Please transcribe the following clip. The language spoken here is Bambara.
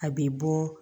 A bɛ bɔ